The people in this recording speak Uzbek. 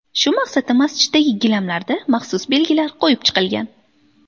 Shu maqsadda masjiddagi gilamlarda maxsus belgilar qo‘yib chiqilgan.